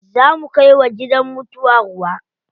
Za mu kai wa gidan mutuwa ruwa.